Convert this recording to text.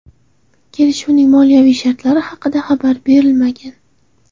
Kelishuvning moliyaviy shartlari haqida xabar berilmagan.